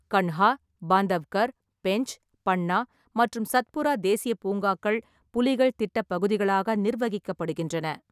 கன்ஹா, பாந்தவ்கர், பென்ச், பன்னா மற்றும் சத்புரா தேசிய பூங்காக்கள் புலிகள் திட்டப் பகுதிகளாக நிர்வகிக்கப்படுகின்றன.